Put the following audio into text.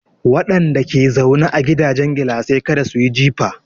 Wadanda ke zaune a gidajen gilasai kada su yi jifa.